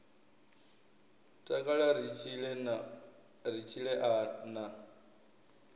takala ri tshile a na